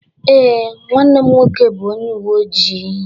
Ee, nwanne m nwoke bụ onye uwe ojii.